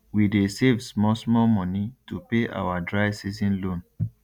we dey save small small money to pay our dry season loan